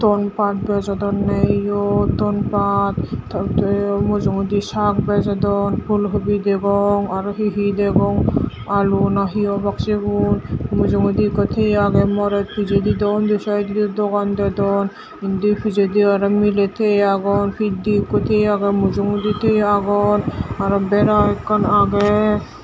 ton paat bejodonye iyot ton paat totw mujungedi saag bejodon fulhobi degong aro hihi degong aloo na hi obak sigun mujungedi ikko thieye agey morot pichedi dw undi saidodi dogan dedon indi pichedi aro miley teiye agon pitdei ikko tiye agey mujungodi tiye agon aro bera ekkan age.